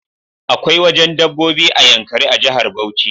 Akwai wajen dabbobi a yankari a jahar Bauchi